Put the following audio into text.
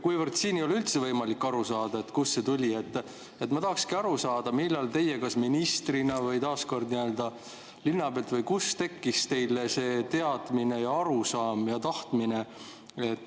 Kuivõrd siin ei ole üldse võimalik aru saada, kust see tuli, siis ma tahaksin aru saada, kust teile ministrina – kas nii-öelda linna pealt – tekkis see teadmine, arusaam ja tahtmine.